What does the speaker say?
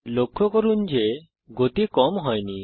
লক্ষ্য করুন যে গতি কম হয়নি